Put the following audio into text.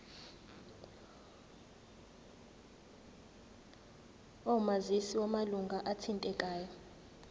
omazisi wamalunga athintekayo